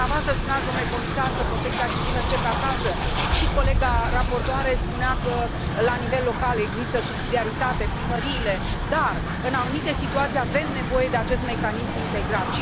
Dumneavoastră spuneați, domnule comisar, că protecția civilă începe acasă și colega raportoare spunea că la nivel local există subsidiaritate dar în anumite situații avem nevoie de acest mecanism integrat.